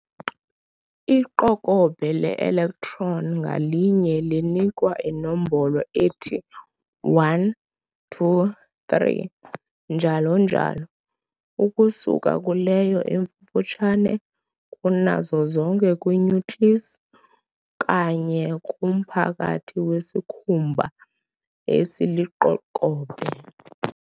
Iqokobhe le-electron ngalinye linikwa inombolo ethi 1, 2, 3, njalo njalo, ukusuka kuleyo ifufutshane kunazo zonke kwi-nucleus, kanye kumphakathi wesikhumba esiliqokobhe.